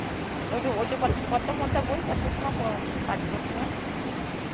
এইটু ঐটু কত মত বই কত সময় পাঠ করতে হয়?